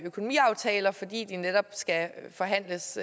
økonomiaftaler fordi de netop skal forhandles